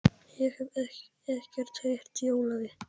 Ég hef ekkert heyrt í Ólafi.